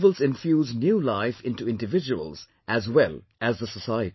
Festivals infuse new life into individuals as well as the society